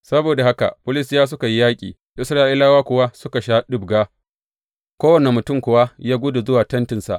Saboda haka Filistiyawa suka yi yaƙi, Isra’ilawa kuwa suka sha ɗibga, kowane mutum kuwa ya gudu zuwa tentinsa.